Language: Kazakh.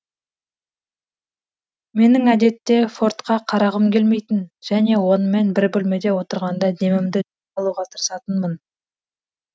менің әдетте фордқа қарағым келмейтін және онымен бір бөлмеде отырғанда демімді жиі алуға тырысатынмын